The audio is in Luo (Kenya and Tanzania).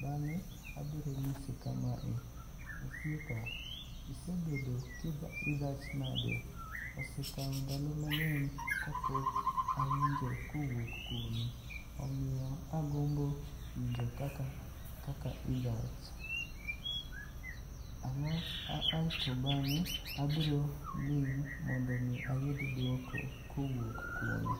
bang'e abiro nyise kamae, osiepa isebedo ka idhach nade? Osekawo ndalo mang'eny kapok awinjo kowuok kuomi. Omiyo aagombo winjo kakla idhach. alafu to bang'e abiro ling' mondo mi ayud duoko kowuok kuome.